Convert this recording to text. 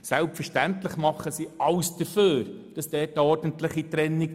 Selbstverständlich tut die BKW alles für eine ordentliche Trennung.